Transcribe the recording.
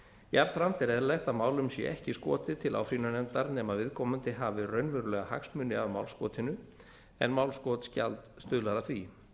jafnframt er eðlilegt að málum sé ekki skotið til áfrýjunarnefndar nema viðkomandi hafi raunverulega hagsmuni af málskotinu en málskotsgjald stuðlar að því